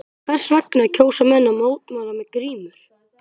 En hvers vegna kjósa menn að mótmæla með grímur?